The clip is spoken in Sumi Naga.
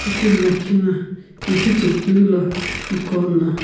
itimi lakhi na ihichekeulo ikuono.